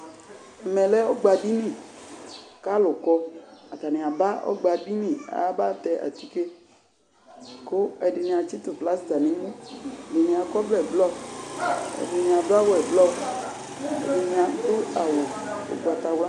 Ɛmɛ lɛ ɔgba ɖiniK'alʋ kɔ atani aba ɔgba ɖini, aaba tɛ atike Ku ɛɖini atɣitʋ plaster n'emuƐɖini akɔ ɔvlɛ blɔ ɛɖini aɖʋ awu eblɔ, ɛɖini aɖʋ awu ugbatawlua